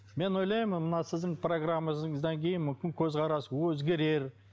мен ойлаймын мына сіздің программаңыздан кейін мүмкін көзқарас өзгерер